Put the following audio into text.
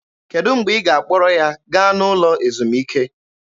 Kedụ mgbe ị ga-akpọrọ ya gaa n'ụlọ ezumike?